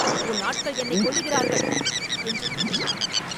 உன் ஆட்கள் என்னைக் கொல்லுகிறார்கள்!” என்று கத்தினான்.